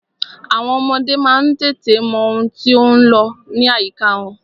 Àwọn ọmọdé má ń tètè mọ ohun tí ó ń lọ ní àyíká wọn.